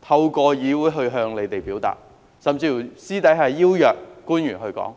透過議會向他們表達，甚至私下邀約官員討論。